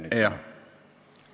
Jah!